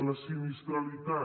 la sinistralitat